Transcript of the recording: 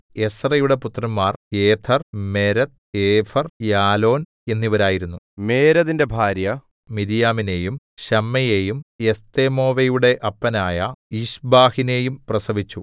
എസ്രയുടെ പുത്രന്മാർ Jether Mered Epher Jalon എന്നിവരായിരുന്നു മേരെദിന്റെ ഭാര്യ മിര്യാമിനെയും ശമ്മയെയും എസ്തെമോവയുടെ അപ്പനായ യിശ്ബഹിനെയും പ്രസവിച്ചു